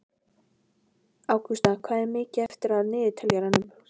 Ágústa, hvað er mikið eftir af niðurteljaranum?